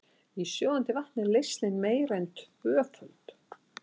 Í sjóðandi vatni er leysnin meira en tvöföld.